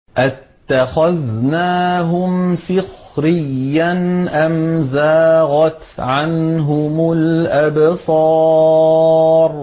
أَتَّخَذْنَاهُمْ سِخْرِيًّا أَمْ زَاغَتْ عَنْهُمُ الْأَبْصَارُ